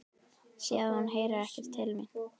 Sé að hún heyrir ekki til mín.